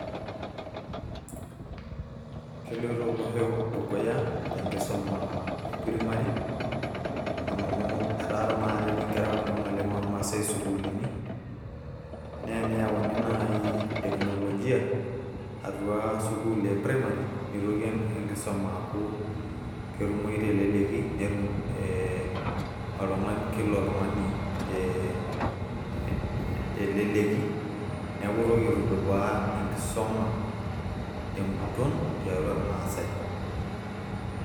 keloito olosho dukuya tenkisuma e primary amu etaa tenakata etii inkera kumok ormaasay isukuulini naa eneyauni naaji teknolojia atua sukuul e primary nitoki enkisuma aaku ketumoyu teleleki netum oltung'ani kila oltung'ani tee teleleki neeku itoki aitudupaa enkisuma tenguton tiatua irmaasay.